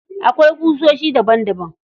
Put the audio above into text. Akwai ƙusoshi daban daban.